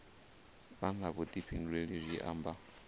vha na vhuḓifhinduleli zwi amba